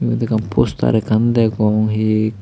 iyot ekkan poster ekkan degong hi.